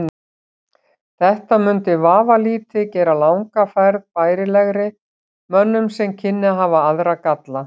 Þetta mundi vafalítið gera langa ferð bærilegri mönnum en kynni að hafa aðra galla.